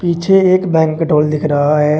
मुझे एक banquet hall दिख रहा है।